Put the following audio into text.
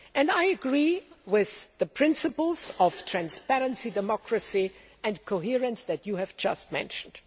I agree with the principles of transparency, democracy and coherence that you have just mentioned.